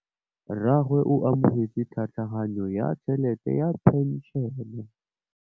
Rragwe o amogetse tlhatlhaganyô ya tšhelête ya phenšene.